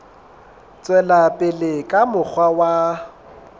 tswela pele ka mokgwa wa